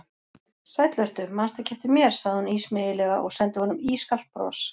Sæll vertu, mannstu ekki eftir mér sagði hún ísmeygilega og sendi honum ískalt bros.